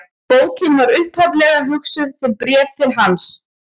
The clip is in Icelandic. Bókin var upphaflega hugsuð sem bréf til hans.